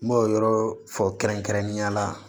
N b'o yɔrɔ fɔ kɛrɛnkɛrɛnnenya la